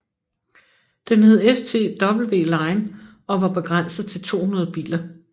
Den hed STWline og var begrænset til 200 biler